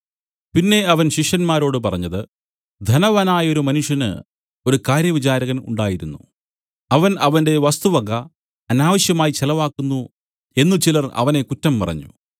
പിന്നെ അവൻ ശിഷ്യന്മാരോട് പറഞ്ഞത് ധനവാനായൊരു മനുഷ്യന് ഒരു കാര്യവിചാരകൻ ഉണ്ടായിരുന്നു അവൻ അവന്റെ വസ്തുവക അനാവശ്യമായി ചെലവാക്കുന്നു എന്നു ചിലർ അവനെ കുറ്റം പറഞ്ഞു